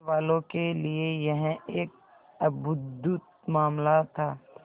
पुलिसवालों के लिए यह एक अद्भुत मामला था